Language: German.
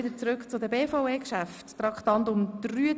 Wir fahren weiter mit den BVE-Geschäften, den Traktanden 33 und 34.